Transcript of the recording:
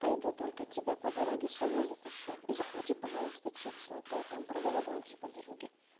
пойду только тебя по дороге с собой затащу и захвати пожалуйста чипсы а то там проголодаемся по дороге